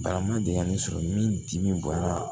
Barama deli ka ne sɔrɔ min dimi bɔnna